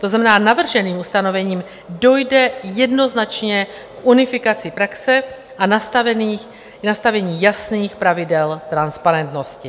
To znamená, navrženým ustanovením dojde jednoznačně k unifikaci praxe a nastavení jasných pravidel transparentnosti.